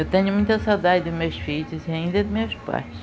Eu tenho muita saudade dos meus filhos e ainda dos meus pais.